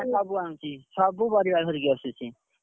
ନା ସବୁ ଆଣୁଛି। ସବୁ ପରିବା ଧରିକି ଆସୁଛି।